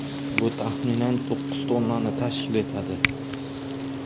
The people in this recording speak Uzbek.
Bu, taxminan, to‘qqiz tonnani tashkil etadi.